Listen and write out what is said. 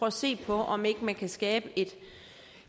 at se på om ikke man kan skabe et